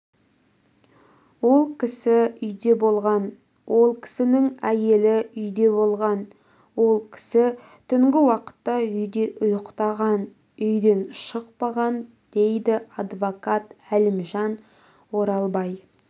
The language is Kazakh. ол кісі үйде болған ол кісінің әйелі үйде болған ол кісі түнгі уақытта үйде ұйықтаған үйден шықпаған дейді адвокат әлімжан оралбай